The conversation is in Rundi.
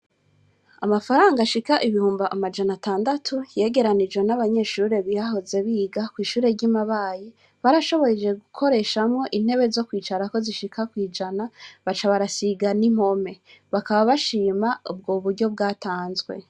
Amafaranga ashika ibihumbi amajana atandatu yegeranijwe n'abanyeshure bahoze biga kwishure ryi Mabayi barashoboje gukoreshamwo intebe zo kwicarako zishika kwijana baca barasiga n'impome bakaba bashima ubwo buryo bwatanzwe.